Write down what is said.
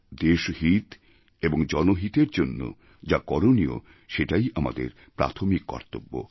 দেশহিত এবং জনহিতের জন্য যা করণীয় সেটাই আমাদের প্রাথমিক কর্তব্য